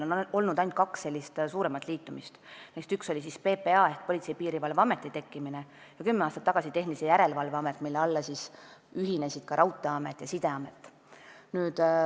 On olnud ainult kaks suuremat liitumist, neist üks oli PPA ehk Politsei- ja Piirivalveameti tekkimine ning kümme aastat tagasi tekkis Tehnilise Järelevalve Amet, mille alla ühinesid ka Raudteeamet ja Sideamet.